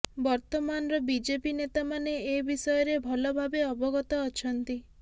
ବର୍ତ୍ତମାନର ବିଜେପି ନେତାମାନେ ଏ ବିଷୟରେ ଭଲଭାବେ ଅବଗତ ଅଛନ୍ତି